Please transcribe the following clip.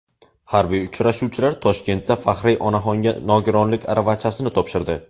Harbiy uchuvchilar Toshkentda faxriy onaxonga nogironlik aravachasini topshirdi.